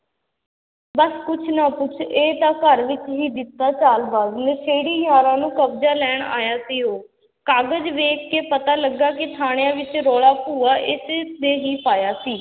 ਬਸ ਕੁਛ ਨਾ ਕੁਛ ਇਹ ਤਾਂ ਘਰ ਵਿੱਚ ਹੀ ਦਿੱਤਾ ਚਾਲਬਾਜ਼, ਨਸ਼ੇੜੀ ਯਾਰਾਂ ਨੂੰ ਕਬਜ਼ਾ ਲੈਣ ਆਇਆ ਸੀ ਉਹ, ਕਾਗ਼ਜ ਵੇਖ ਕੇ ਪਤਾ ਲੱਗਾ ਕਿ ਥਾਣਿਆਂ ਵਿੱਚ ਰੌਲਾ ਭੂਆ ਇਸ ਨੇ ਹੀ ਪਾਇਆ ਸੀ।